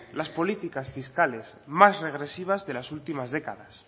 las políticas fiscales más regresivas de las últimas décadas